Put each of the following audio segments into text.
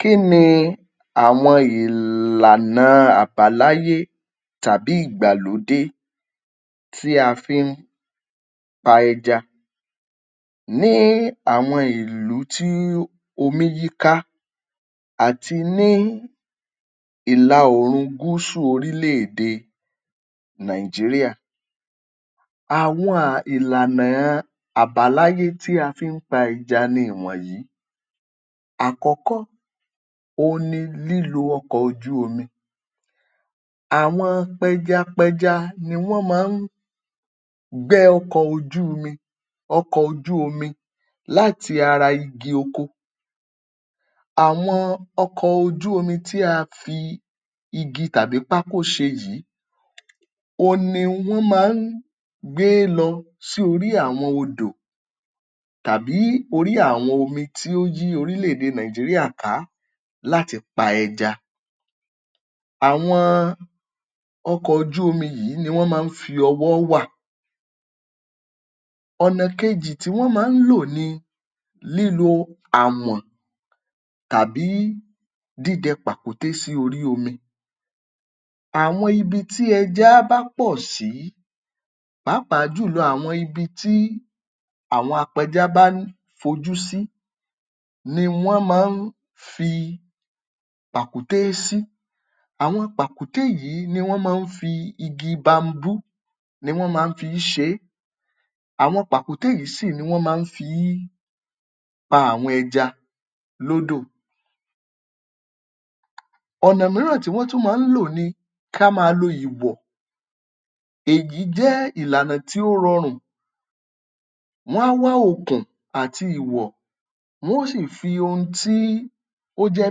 Kí ni àwọn ìlànà àbáláyé tàbí ìgbàlódé tí a fi ń pa ẹja ní àwọn ìlú tí omí yíká àti ní ìlà oòrùn gúsù orílẹ̀-èdè Nigeria? Àwọn um ìlàna àbáláyé tí a fi ń pẹja ní ìwọ̀nyí: àkọ́kọ́ òhun ni lílo ọkọ̀ ojú omi. Àwọn pẹjapẹja ni wọ́n máa ń gbẹ́ ọkọ̀ ojú omi, ọkọ̀ ojú omi láti ara igi oko. Àwọn ọkọ̀ ojú omi tí a fi igi tàbí pákó ṣe yìí, òhun ni wọ́n máa ń gbé lọ sí orí àwọn odò tàbí orí àwọn omi tí ó yí orílẹ̀-èdè Nigeria ká láti pa ẹja. Àwọn ọkọ̀ ojú omi yìí ni wọ́n máa ń fi ọwọ́ wà. Ọ̀nà kejì tí wọ́n máa ń lò ni lílo àwọ̀n tàbí dídẹ pàkúté sí orí omi. Àwọn ibi tí ẹja bá pọ̀ sí pàápàá jùlọ àwọn ibi tí àwọn apẹja bá ń fojú sí ni wọ́n máa ń fi tàkúté sí. Àwọn pàkúté yìí ni wọ́n máa ń fi igi bamboo, ni wọ́n máa ń fi í ṣe é. Àwọn pàkúté yìí sì ni wọ́n máa ń fi í pa àwọn ẹja lódò. Ọ̀nà míràn tí wọ́n tún máa ń lò ni kí a máa lo ìwọ̀. Èyí jẹ́ ìlànà tí ó rọrùn. Wọ́n á wá okùn àti ìwọ̀, wọn ó sì fi ohun tí ó jẹ́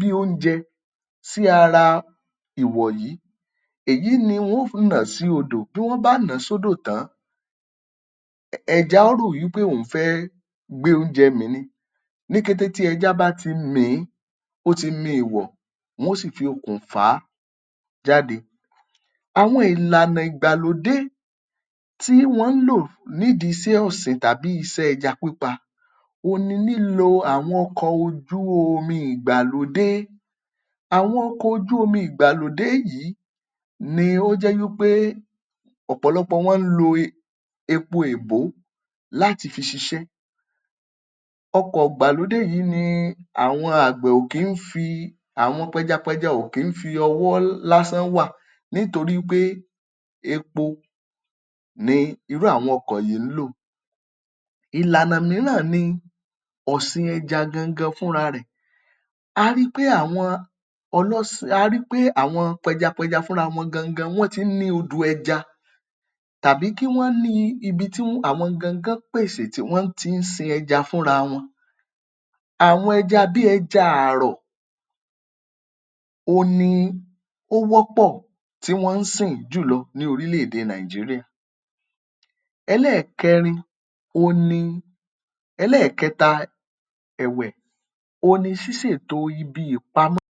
bí oúnjẹ sí ara ìwọ̀ yí. Èyí ni wọn ó um nà sí odò. Tí wọ́n bá nà án sódò tán, ẹja á rò wí pé òun fẹ́ gbé oúnjẹ mì ni. Ní kété tí ẹja bá ti mì ín, ó ti mi èèwọ̀. Wọn ó sì fi okùn fà á jáde. Àwọn ìlànà ìgbàlódé tí wọn ń lò nídì iṣẹ́ ọ̀sìn tàbí iṣẹ́ ẹja pípa, ohun ni lílo àwọn ọkọ̀ ojú omi ìgbàlódé. Àwọn ọkọ̀ ojú omi ìgbàlódé yìí ni ó jẹ́ wí pé ọ̀pọ̀lọpọ̀ wọn ń lo epo èbó láti fi ṣiṣẹ́. Ọkọ̀ ìgbàlódé yìí ni àwọn àgbẹ̀ ò kí ń fi àwọn pẹjapẹja ò kí ń fi ọwọ́ lásán wà nítorí wí pé epo ni irú àwọn ọkọ̀ yìí ń lò. Ìlànà míràn ni ọ̀sìn ẹja gangan fúnra rẹ̀. A rí pé àwọn ọlọ́sìn, a rí pé àwọn pẹjapẹja fúnra wọn gangan fúnra wọn, wọ́n ti ń ní odò ẹja tàbí kí wọ́n ní ibi tí um àwọn gangan pèsè tí wọ́n ti ń sin ẹja fúnra wọn. Àwọn ẹja bí ẹja àrọ̀, òhun ni ó wọ́pọ̀ tí wọn ń sìn ín jùlọ ní porílẹ̀-èdè Nigeria. Ẹlẹ́ẹ̀kẹrin on ni, ẹlẹ́ẹ̀kẹta ẹ̀wẹ̀, on ni ṣíṣètò ibi ìpamọ́.